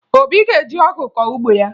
Obi ga-eji ọgụ kọọ ugbo ya